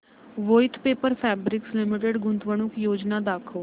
Voith paper fabrics limited गुंतवणूक योजना दाखव